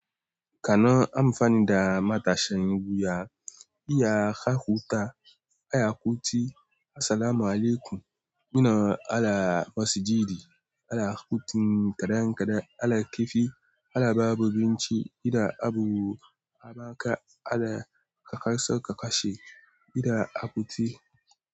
Kana amfanida matashin wuya, iya hakuta, iya kuti assalamu alaikum. Muna ala masjidi, ala kuti kadan-kadan, ala kifi, ala babu abinci, ina abu, abaka, ala kakar sokaka she, ina a kuti.